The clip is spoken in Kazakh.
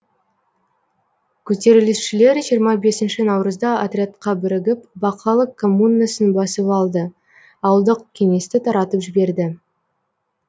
көтерілісшілер жиырма бесінші наурызда отрядқа бірігіп бақалы коммунасын басып алды ауылдық кеңесті таратып жіберді